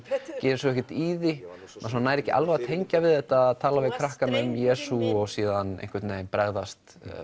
gerir svo ekkert í því maður nær ekki alveg að tengja við þetta að tala við krakkana um Jesú og síðan bregðast